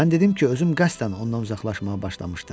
Mən dedim ki, özüm qəsdən ondan uzaqlaşmağa başlamışdım.